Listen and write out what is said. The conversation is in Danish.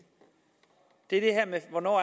er det her med hvornår